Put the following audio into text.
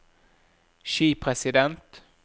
skipresident